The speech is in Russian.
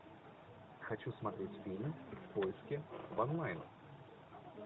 хочу смотреть фильм в поиске в онлайн